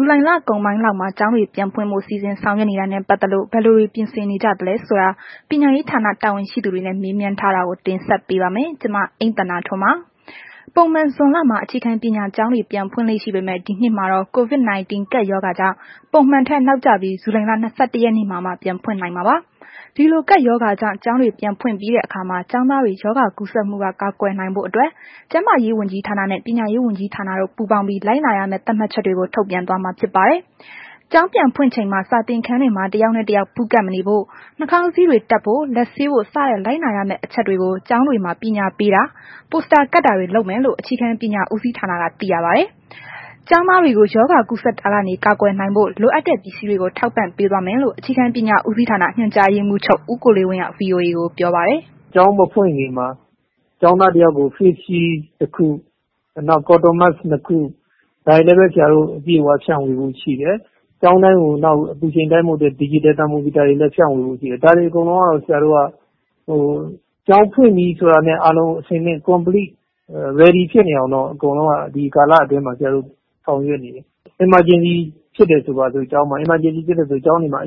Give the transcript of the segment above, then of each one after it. ူလိုင်လကုန်ပိုင်းလောက်မှာ ကျောင်းတွေ ပြန်ဖွင့်ဖို့ စီစဉ်ဆောင်ရွက်နေတာနဲ့ ပတ်သက်လို့ ဘယ်လိုတွေ ပြင်ဆင်နေကြသလဲဆိုတာ ပညာရေးဌာနတာဝန်ရှိသူတွေနဲ့ မေးမြန်းထားတာကို ဗွီအိုအေမြန်မာပိုင်း သတင်းထောက် မအိမ့်သန္တာထွန်းက တင်ဆက်ပေးပါမယ်။ ပုံမှန် ဇွန်လမှာ အခြေခံပညာကျောင်းတွေ ပြန်ဖွင့်လေ့ ရှိပေမဲ့ ဒီနှစ်မှာတော့ COVID 19 ကပ်ရောဂါကြောင့် ပုံမှန်ထက်နောက်ကျပြီး ဇူလိုင်လ ၂၁ ရက်နေ့မှာမှ ပြန်ဖွင့်လှစ်နိုင်မှာပါ။ ဒီလို ကပ်ရောဂါကြောင့် ကျောင်းတွေ ပြန်ဖွင့်ပြီးတဲ့အခါမှာ ကျောင်းသားတွေ ရောဂါကူးစက်မှုက ကာကွယ်နိုင်ဖို့အတွက် ကျန်းမာရေးဝန်ကြီးဌာနနဲ့ ပညာရေးဝန်ကြီးဌာနတို့ ပူးပေါင်းပြီး လိုက်နာရမယ့် သတ်မှတ်ချက်တွေကို ထုတ်ပြန်သွားမှာ ဖြစ်ပါတယ်။ ကျောင်းပြန်ဖွင့်ချိန်မှာ စာသင်ခန်းတွေမှာ တစ်ယောက်နဲ့ တစ်ယောက် ပူးကပ်မနေဖို့၊ နှာခေါင်းစည်းတပ်ဖို့ လက်ဆေးဖို့ စတဲ့ လိုက်နာရမယ့် အချက်တွေကို ကျောင်းတွေမှာ ပညာပေးတာ၊ ပိုစတာကပ်တာတွေ လုပ်မယ်လို့ အခြေခံပညာဦးစီးဌာနက သိရပါတယ်။ ကျောင်းသားတွေကို ရောဂါကူးစက်တာကနေ ကာကွယ်နိုင်ဖို့ လို့အပ်တဲ့ ပစ္စည်းတွေကို ထောက်ပံ့ပေးသွားမယ်လို့ အခြေခံပညာဦးစီးဌာန ညွှန်ကြားရေးမှူးချုပ် ဦးကိုလေးဝင်းက VOA ကိုပြောပါတယ်။ “ကျောင်းမဖွင့်ခင်မှာ ကျောင်းသားတစ်ယောက်ကို Face Shield တစ်ခု၊ နောက် Cotton Mask နှစ်ခု ဒါတွေလည်းပဲ ဆရာတို့ အပြည့်အဝဖြန့်ဝေဖို့ရှိတယ်။ ကျောင်းတိုင်းကို အပူချိန်တိုင်းဖို့ ဒယ်ဂျစ်တယ် သာမိုမီတာတွေလည်း ဖြန့်ဝေဖို့ရှိတယ်။ ဒါတွေကို ဆရာတို့က ကျောင်းဖွင့်ပြီဆိုတာနဲ့ အားလုံး အခြေအနေ ရယ်ဒီ ဖြစ်နေအောင်တော့ အကုန်လုံးက ဒီကာလအတွင်းမှာ ဆရာတို့ ဆောင်ရွက်နေတယ်။ Emergency ဖြစ်တယ်ဆိုပါစို့ ကျောင်းမှာ အဲ့လိုဖြစ်ရင်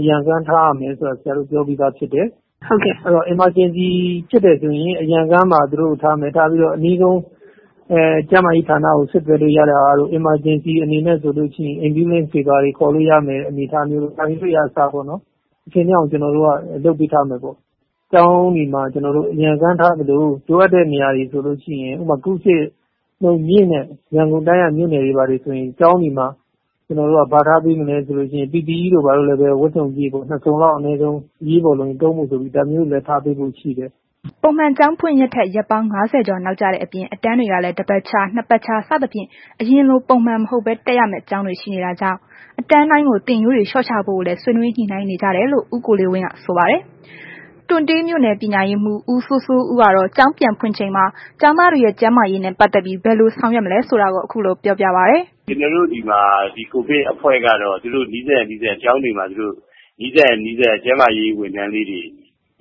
အရံကား ထားရမယ်ဆိုတာ ဆရာတို့ ပြောပြီးသားဖြစ်တယ်။ အဲ့တော့ Emergency ဖြစ်တယ်ဆိုရင် သူတို့ကို အရံကား မှာထားမယ်၊ ထားပြီးတော့ အနီးဆုံး ကျန်းမာရေးဌာနကို ဆက်သွယ်လို့ ရတဲ့ဟာတို့ Emergency အနေနဲ့ဆိုလို့ရှိရင် Ambulance တွေပါတွေ ခေါ်လို့ရမယ်အနေအထားပေါ့ ဒါမျိုးတွေကို ကျနော်တို့ အဆင်သင့်အောင် ကျနော်တို့က လုပ်ပေးထားမယ်ပေါ့။ ကျောင်းတွေမှာ အရံကား ထားသလို လိုအပ်တဲ့နေရာတွေဆိုလို့ရှိရင် ဥပမာ ကူးစက်နှုန်းမြင့်တဲ့ ရန်ကုန်တိုင်းက မြို့နယ်တွေဆိုရင် ကျောင်းတွေမှာ ကျနော်တို့က PPE ကို ဝတ်စုံပြည့် အနည်းဆုံး နှစ် စုံလောက် အရေးပေါ်လိုရင် သုံးဖို့ ဆိုပြီး ဒါမျိုးတွေလည်း ထားပေးဖို့ရှိတယ်။” ပုံမှန်ကျောင်းပြန်ဖွင့်ရက်ထက် ရက်ပေါင်း ၅၀ ကျော် နောက်ကျတဲ့အပြင် အတန်းတွေကလည်း တစ်ပတ်ခြား၊ နှစ်ပတ်ခြား စသဖြင့် အရင်ပုံမှန်လို မဟုတ်ဘဲ တက်ရမယ့် ကျောင်းတွေ ရှိနေတာကြောင့် အတန်းတိုင်းကို သင်ရိုးတွေ လျှော့ချဖို့ကိုလည်း ဆွေးနွေးညှိနှိုင်းနေကြတယ်လို့ ဦးကိုလေးဝင်းက ဆိုပါတယ်။ တွံတေးမြို့နယ် ပညာရေးမှူး ဦးစိုးစိုးဦးကတော့ ကျောင်းပြန်ဖွင့်ချိန်မှာ ကျောင်းသားတွေရဲ့ ကျန်းမာရေးနဲ့ ပတ်သက်ပြီး ဘယ်လို ဆောင်ရွက်မလဲဆိုတာကို ခုလိုပြောပြပါတယ်။ “ကျနော်တို့ ဒီမှာ ဒီကိုဗစ်အဖွဲ့ကတော့ သူတို့နီးစပ်ရာ နီးစပ်ရာ ကျောင်းတွေမှာ သူတို့ နီးစပ်ရာ ကျန်းမာရေးဝန်ထမ်းလေး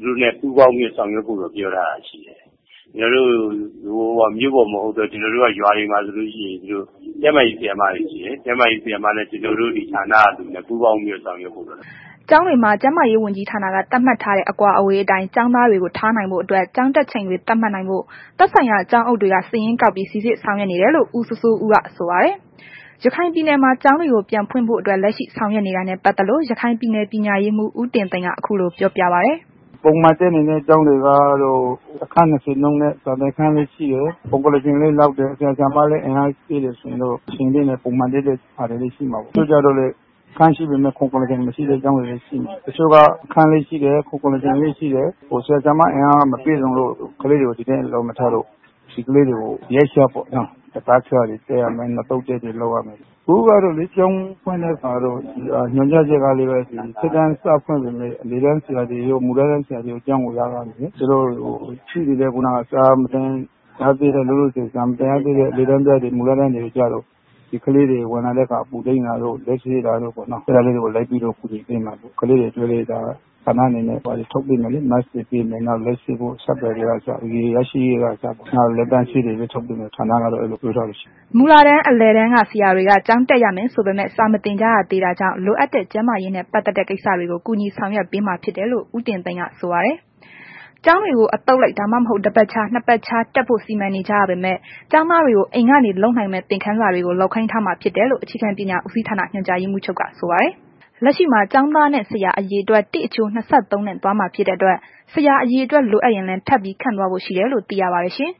တွေနဲ့ ပူးပေါင်းပြီးတော့ ဆောင်ရွက်ဖို့တော့ ပြောထားတာရှိတယ်။ ကျနော်တို့က မြို့ပေါ်မဟုတ်တဲ့ ရွာတွေမှာဆိုလို့ရှိရင် ကျန်းမာရေး ဆရာမတွရှိတယ်၊ ကျန်းမာရေးဆရာမတွေနဲ့ ကျနောတို့ ဌာနက ဝန်ထမ်းတွေနဲ့ ပူးပေါင်းပြီးတော့ ဆောင်ရွက်ဖို့ပါ။” ကျောင်းတွေမှာ ကျန်းမာရေးဝန်ကြီးဌာနက သတ်မှတ်ထားတဲ့ အကွာအဝေးအတိုင်း ကျောင်းသားတွေကို ထားနိုင်ဖို့အတွက် ကျောင်းတက်ချိန်တွေ သတ်မှတ်နိုင်ဖို့ သက်ဆိုင်ရာ ကျောင်းအုပ်တွေက စာရင်းကောက်ပြီး စိစစ်ဆောင်ရွက်နေတယ်လို့ ဦးစိုးစိုးဦးက ဆိုပါတယ်။ ရခိုင်ပြည်နယ်မှာ ကျောင်းတွေကို ပြန်ဖွင့်ဖို့အတွက် လက်ရှိ ဆောင်ရွက်နေတာနဲ့ ပတ်သက်လို့ ရခိုင်ပြည်နယ် ပညာရေးမှူး ဦးတင်သိန်းက ခုလိုပြောပြပါတယ်။ “ပုံမှန်သင်နေတဲ့ကျောင်းတွေကတော့ တစ်ခန်း ၂၀ နဲ့ စာသင်ခန်းလည်း ရှိတယ် ခုံ၊ ကုလားထိုင်လည်း လောက်တယ် ဆရာ၊ ဆရာမလည်း အင်အားရှိတယ်ဆိုရင် အဆင်သင့်ပဲ ပုံမှန်တက်တဲ့ဟာတွေလည်း ရှိမှာပေါ့။ တချို့ကျတော့လည်း အခန်းရှိပေမဲ့ ခုံကုလားထိုင် မရှိတဲ့ကျောင်းတွေလည်း ရှိမယ်၊ တချို့ကျတော့လည်း အခန်းလည်း ရှိတယ်၊ ခုကုလားထိုင်လည်း ရှိတယ်။ ဆရာ၊ ဆရာမ အင်အားမရှိလို့ပေါ့။ ဒါပေမဲ့ ဒီကလေးတွေကို ဒီအတိုင်းအလွတ်ထားတာမျိုး မဟုတ်ဘဲ ရက်ခြားပေါ့၊ တပတ်ခြားတွေ လုပ်ရမယ်၊ နှစ်သုတ်ခွဲတွေ တက်ရမယ်။” မူလတန်းအလယ်တန်းက ဆရာတွေက ကျောင်းတက်ရမယ်ဆိုပေမဲ့ စာမသင်ကြရသေးတာကြောင့် လိုအပ်တဲ့ ကျန်းမာရေးနဲ့ ပတ်သက်တဲ့ ကိစ္စတွေကို ကူညီဆောင်ရွက်ပေးမှာဖြစ်တယ်လို့ ဦးတင်သိန်းက ဆိုပါတယ်။ ကျောင်းတွေကို အသုတ်လိုက် ဒါမှမဟုတ် တပတ်ခြား၊ နှစ်ပတ်ခြား တက်ဖို့ စီမံနေကြရပေမယ့် ကျောင်းသားတွေကို အိမ်ကနေ လုပ်နိုင်မယ့် သင်ခန်းစာတွေကို လုပ်ခိုင်းထားမှာဖြစ်တယ်လို့ အခြေခံပညာဦးစီးဌာန ညွှန်ကြားရေးမှူးချုပ်က ဆိုပါတယ်။ လက်ရှိမှာ ကျောင်းသားနဲ့ဆရာ အရေအတွက် ၁ အချိုး ၂၃ နဲ့ သွားမှာ ဖြစ်တဲ့အတွက် ဆရာ အရေအတွက် လိုအပ်ရင်လည်း ထပ်ပြီး ခန့်သွားဖို့ရှိတယ်လို့ သိရပါတယ်ရှင်။